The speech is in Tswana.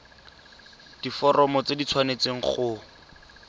diforomo tse di tshwanesteng go